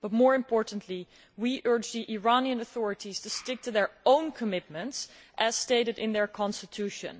More importantly, however, we urge the Iranian authorities to stick to their own commitments, as stated in their constitution.